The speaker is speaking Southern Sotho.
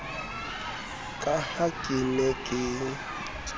ka ha ke ne ke